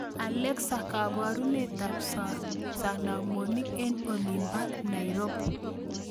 Alexa kabarunetab sanamonik en olin ba nairobi